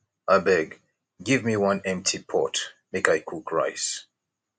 abeg give me one empty pot make i cook rice